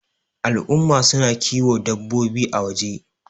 al'umma suna kiwo dabbaobi a waje